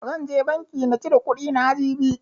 Zan je banki na cire kuɗi na, jibi.